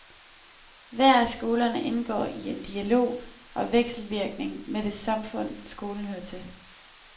Hver af skolerne indgår i en dialog og vekselvirkning med det samfund, skolen hører til.